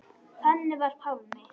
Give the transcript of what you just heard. Þannig var Pálmi.